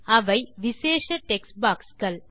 அவை விசேஷ டெக்ஸ்ட் boxகள்